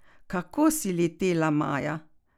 Kako si letela, Maja!